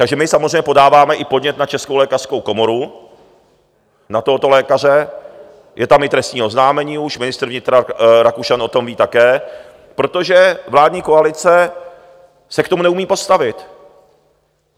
Takže my samozřejmě podáváme i podnět na Českou lékařskou komoru na tohoto lékaře, je tam i trestní oznámení už, ministr vnitra Rakušan o tom ví také, protože vládní koalice se k tomu neumí postavit.